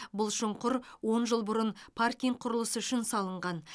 бұл шұңқыр он жыл бұрын паркинг құрылысы үшін салынған